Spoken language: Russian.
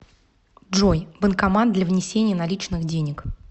джой банкомат для внесения наличных денег